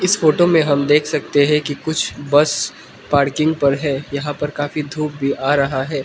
इस फोटो में हम देख सकते हैं कि कुछ बस पार्किंग पर है यहां पर काफी धूप भी आ रहा है।